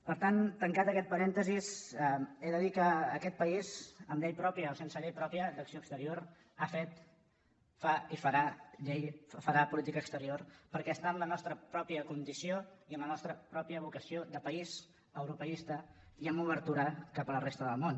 per tant tancat aquest parèntesi he de dir que aquest país amb llei pròpia o sense llei pròpia d’acció exterior ha fet fa i farà política exterior perquè està en la nostra pròpia condició i en la nostra pròpia vocació de país europeista i amb obertura cap a la resta del món